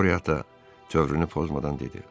Qota tövrünü pozmadan dedi.